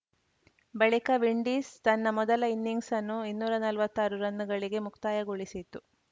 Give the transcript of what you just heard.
ಬಳಿಕ ವಿಂಡೀಸ್‌ ತನ್ನ ಮೊದಲ ಇನ್ನಿಂಗ್ಸನ್ನು ಇನ್ನೂರ ನಲ್ವತ್ತಾರು ರನ್‌ಗಳಿಗೆ ಮುಕ್ತಾಯಗೊಳಿಸಿತು